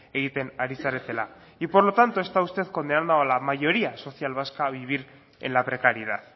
egiten ari zaretela y por lo tanto está usted condenando a la mayoría social vasca a vivir en la precariedad